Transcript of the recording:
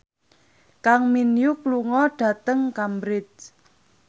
Kang Min Hyuk lunga dhateng Cambridge